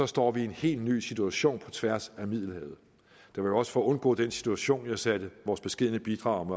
står vi i en helt ny situation på tværs af middelhavet det var jo også for at undgå den situation at jeg satte vores beskedne bidrag om